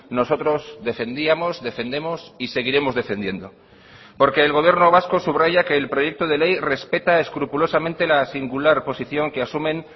nosotros defendíamos defendemos y seguiremos defendiendo porque el gobierno vasco subraya que el proyecto de ley respeta escrupulosamente la singular posición que asumen